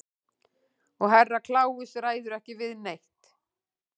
Og Herra Kláus ræður ekki við neitt.